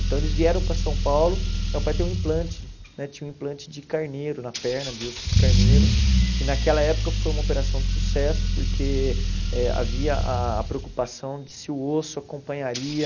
Então eles vieram para São Paulo para meu pai ter um implante né, tinha um implante de carneiro na perna, de osso de carneiro, e naquela época foi uma operação de sucesso porque eh havia a preocupação de se o osso acompanharia